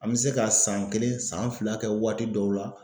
An be se ka san kelen san fila kɛ waati dɔw la.